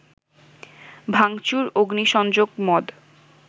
ভাঙচুর, অগ্নিসংযোগ, মদ